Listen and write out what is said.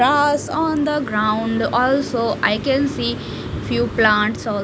grass on the ground also I can see few plants al--